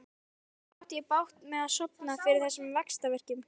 Stundum átti ég bágt með að sofna fyrir þessum vaxtarverkjum.